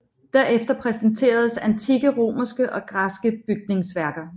Derefter præsenteres antikke romerske og græske bygningsværker